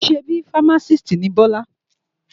Ṣebí fámásìst ni Bíọ́lá?